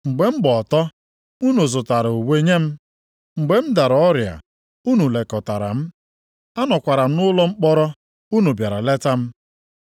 Mgbe m gba ọtọ, unu zụtara uwe nye m. Mgbe m dara ọrịa unu lekọtara m. Anọkwara m nʼụlọ mkpọrọ unu bịara leta m.’